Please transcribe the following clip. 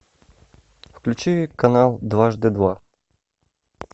включи канал дважды два